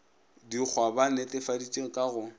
dikgwa ba netefaditše ka go